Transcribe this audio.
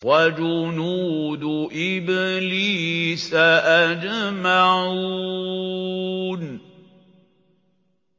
وَجُنُودُ إِبْلِيسَ أَجْمَعُونَ